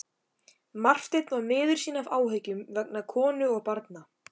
Marteinn var miður sín af áhyggjum vegna konu og barna.